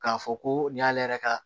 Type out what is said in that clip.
K'a fɔ ko nin y'ale yɛrɛ ka